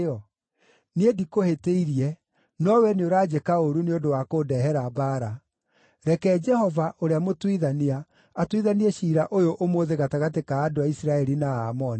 Niĩ ndikũhĩtĩirie, no wee nĩũranjĩka ũũru nĩ ũndũ wa kũndehera mbaara. Reke Jehova, ũrĩa mũtuithania, atuithanie ciira ũyũ ũmũthĩ gatagatĩ ka andũ a Isiraeli na Aamoni.”